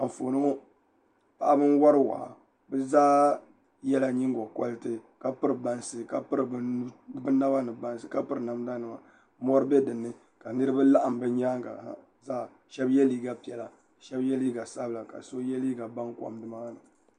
Anfooni ŋɔ paɣaba n wori waa bi zaa yɛla nyingokoriti ka piri bansi ka piri bi naba ni bansi ka piri namda nima ka mɔri bɛ dinni ka niraba laɣam bi nyaangi ha ʒɛya shab yɛ liiga piɛla shab yɛ liiga sabila ka shab yɛ liiga baŋkom nimaani